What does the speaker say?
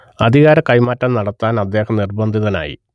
അധികാര കൈമാറ്റം നടത്താൻ അദ്ദേഹം നിർബന്ധിതനായി